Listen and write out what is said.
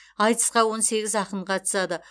айтысқа он сегіз ақын қатысады